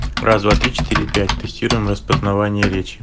раз два три четыре пять тестируем распознавание речи